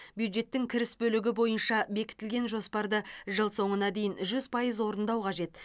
бюджеттің кіріс бөлігі бойынша бекітілген жоспарды жыл соңына дейін жүз пайыз орындау қажет